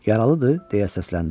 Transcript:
Yaralıdır, deyə səsləndi.